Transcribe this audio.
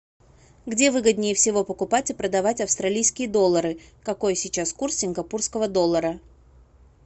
где выгоднее всего покупать и продавать австралийские доллары какой сейчас курс сингапурского доллара